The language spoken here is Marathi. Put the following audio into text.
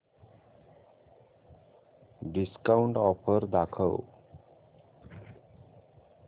डिस्काऊंट ऑफर दाखव